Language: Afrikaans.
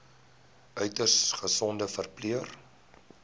uiters gesogde verpleër